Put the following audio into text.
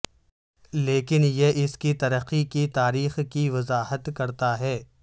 لیکن یہ اس کی ترقی کی تاریخ کی وضاحت کرتا ہے